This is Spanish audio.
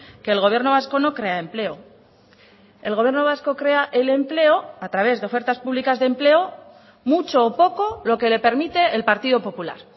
que el gobierno vasco no crea empleo el gobierno vasco crea el empleo a través de ofertas públicas de empleo mucho o poco lo que le permite el partido popular